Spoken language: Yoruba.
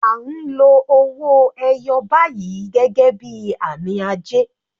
À ń lo owó ẹyọ báyìí gẹ́gẹ́ bí àmì ajé.